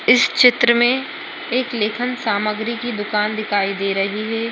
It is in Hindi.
इस चित्र में एक लेखन सामग्री की दुकान दिखाई दे रही है।